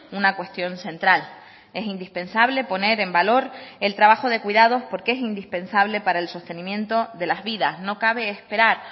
una cuestión central es indispensable poner en valor el trabajo de cuidados porque es indispensable para el sostenimiento de las vidas no cabe esperar